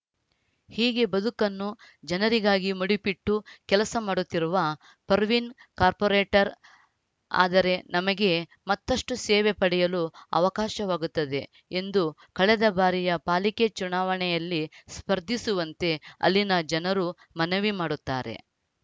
ಹೀಗೆ ಬದುಕನ್ನು ಜನರಿಗಾಗಿ ಮುಡಿಪಿಟ್ಟು ಕೆಲಸ ಮಾಡುತ್ತಿರುವ ಪರ್ವಿನ್‌ ಕಾರ್ಪೊರೇಟರ್‌ ಆದರೆ ನಮಗೆ ಮತ್ತಷ್ಟೂಸೇವೆ ಪಡೆಯಲು ಅವಕಾಶವಾಗುತ್ತದೆ ಎಂದು ಕಳೆದ ಬಾರಿಯ ಪಾಲಿಕೆ ಚುನಾವಣೆಯಲ್ಲಿ ಸ್ಪರ್ಧಿಸುವಂತೆ ಅಲ್ಲಿನ ಜನರು ಮನವಿ ಮಾಡುತ್ತಾರೆ